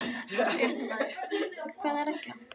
Fréttamaður: Hvaða regla?